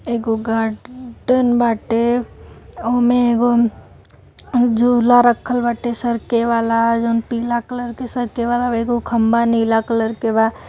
एगो गार्ड-डन बाटे ओमें एगो झूला रखल बाटे सरके वाला जों पिला कलर के सरके वाला एगो खम्भा नीला कलर के बा।